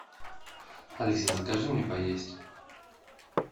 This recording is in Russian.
алиса закажи мне поесть